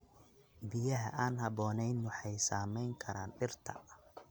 Biyaha aan habboonayn waxay saameyn karaan dhirta.